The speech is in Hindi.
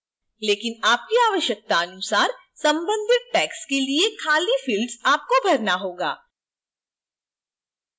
लेकिन आपकी आवश्यकतानुसार संबंधित tags के लिए खाली fields आपको भरना होगा